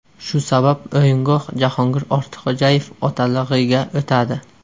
Shu sabab o‘yingoh Jahongir Ortiqxo‘jayev otalig‘iga o‘tadi.